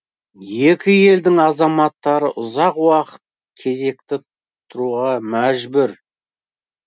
екі елдің азаматтары ұзақ уақыт кезекті тұруға мәжбүр